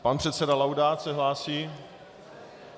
Pan předseda Laudát se hlásí?